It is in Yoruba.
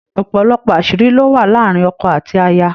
òpòlopò aṣiri ló wà láàrin ọkọ àti aya.